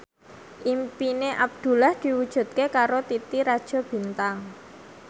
impine Abdullah diwujudke karo Titi Rajo Bintang